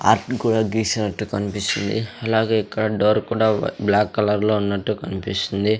ఆర్టును కూడా గీసినట్టు కన్పిస్తుంది అలాగే ఇక్కడ డోర్ కుడా బ్లాక్ కలర్ లో ఉన్నట్టు కన్పిస్తుంది.